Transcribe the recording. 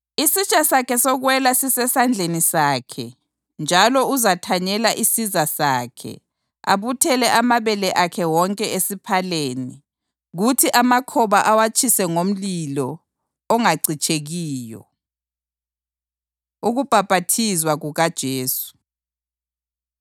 Isitsha sakhe sokwela sisesandleni sakhe njalo uzathanyela isiza sakhe, abuthele amabele akhe wonke esiphaleni, kuthi amakhoba awatshise ngomlilo ongacitshekiyo.” Ukubhaphathizwa KukaJesu